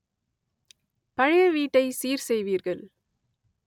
பழைய வீட்டை சீர் செய்வீர்கள்